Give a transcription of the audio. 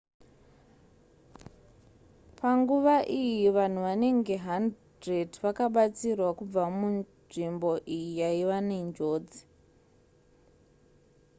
panguva iyi vanhu vanenge 100 vakabatsirwa kubva munzvimbo iyi yaiva nenjodzi